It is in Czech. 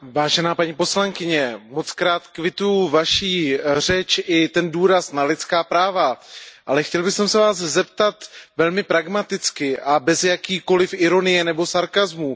Vážená paní poslankyně, kvituji Vaši řeč i ten důraz na lidská práva, ale chtěl bych se Vás zeptat velmi pragmaticky a bez jakékoliv ironie nebo sarkasmů.